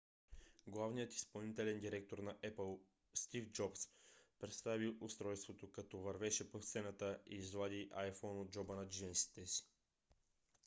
главният изпълнителен директор на apple стив джобс представи устройството като вървеше по сцената и извади iphone от джоба на джинсите си